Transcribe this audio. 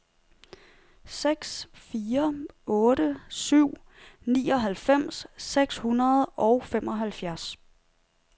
seks fire otte syv nioghalvfems seks hundrede og femoghalvfjerds